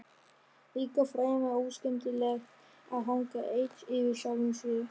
Líka fremur óskemmtilegt að hanga einn yfir sjálfum sér.